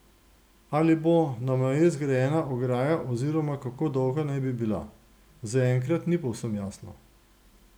Ali bo na meji zgrajena ograja oziroma kako dolga naj bi bila, zaenkrat ni povsem jasno.